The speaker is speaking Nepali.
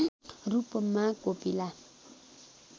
रूपमा कोपिला